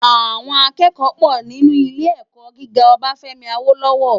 Àwòn àkèkò pò ninú ilé èkò gigá Obafemi Awolowo